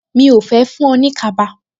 Mi ò fẹ́ fún-un ní kaba